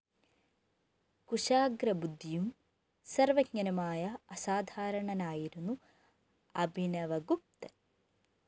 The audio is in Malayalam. കുശാഗ്രബുദ്ധിയും സര്‍വജ്ഞനുമായ അസാധാരണനായിരുന്നു അഭിനവഗുപ്തന്‍